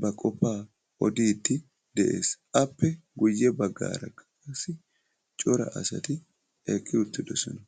ba qofaa odiidi de'ees. Appe guye bagaara qassi cora asati eqi uttidosona.